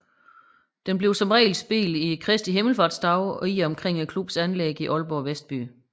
Den bliver som regel spillet i Kristi Himmelsfartsdagene i og omkring klubbens anlæg i Aalborg Vestby